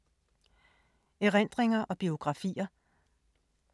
Erindringer og biografier